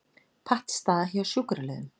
Pattstaða hjá sjúkraliðum